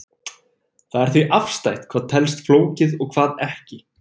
það er því afstætt hvað telst flókið og hvað ekki